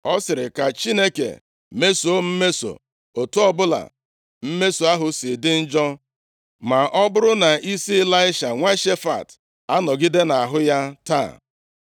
Ọ sịrị, “Ka Chineke mesoo m mmeso, otu ọbụla mmeso ahụ si dị njọ, ma ọ bụrụ na isi Ịlaisha nwa Shafat anọgide nʼahụ ya taa.”